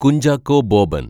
Kunchacko Boban‍